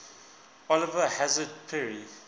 oliver hazard perry